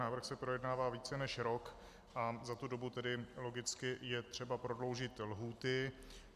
Návrh se projednává více než rok a za tu dobu tedy logicky je třeba prodloužit lhůty.